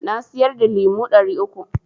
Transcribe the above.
Na siyar da lemo ɗari uku.